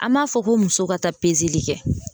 An b'a fɔ ko muso ka taa kɛ.